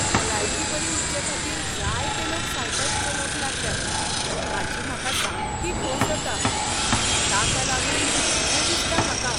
भलायकी बरी उरचेखातीर जायते लोक सायकल चलोवंक लागल्यात हाची म्हाका सामकी खोस जाता. ताका लागून बरें दिसता म्हाका.